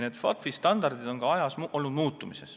Need standardid on aja jooksul muutunud.